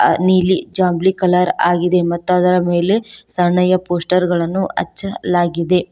ಅ ನೀಲಿ ಜಾಮ್ಲಿ ಕಲರ್ ಆಗಿದೆ ಮತ್ತು ಅದರ ಮೇಲೆ ಸಣ್ಣಯ ಪೋಸ್ಟರ್ ಗಳನ್ನು ಹಚ್ಚಲಾಗಿದೆ.